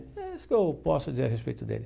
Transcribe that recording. É isso que eu posso dizer a respeito dele.